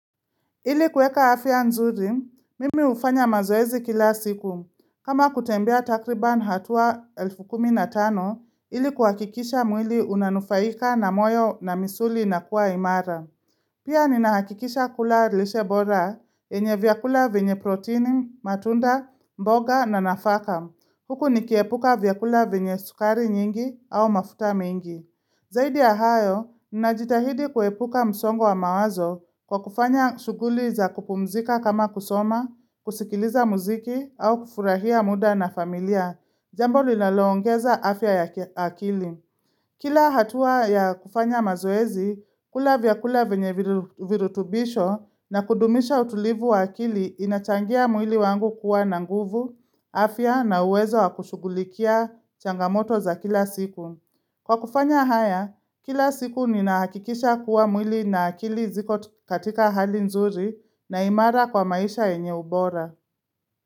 Ili kuweka afya nzuri, mimi hufanya mazoezi kila siku. Kama kutembea takriban hatua elfu kumi na tano, ili kuhakikisha mwili unanufaika na moyo na misuli inakuwa imara. Pia ninahakikisha kula lishe bora, yenye vyakula vyenye protini, matunda, mboga na nafaka. Huku nikiepuka vyakula vyenye sukari nyingi au mafuta mingi. Zaidi ya hayo, ninajitahidi kuepuka msongo wa mawazo kwa kufanya shuguli za kupumzika kama kusoma, kusikiliza muziki au kufurahia muda na familia, jambo linalo ongeza afya ya akili. Kila hatua ya kufanya mazoezi, kula vyakula vyenye virutubisho na kudumisha utulivu wa akili inachangia mwili wangu kuwa na nguvu, afya na uwezo wa kushugulikia changamoto za kila siku. Kwa kufanya haya, kila siku ninaakikisha kuwa mwili na akili ziko tu katika hali nzuri na imara kwa maisha yenye ubora.